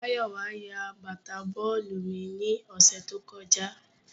Mayowa ya bata bọọlu mi ni ọsẹ to kọja